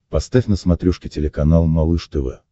поставь на смотрешке телеканал малыш тв